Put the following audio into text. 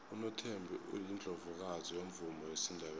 unothembi yiundlovukazi yomvumo wesindebele